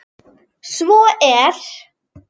Svo er